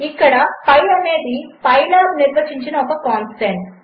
ఇక్కడ పిఐ అనేదిpylabనిర్వచించినఒకకాన్స్టంట్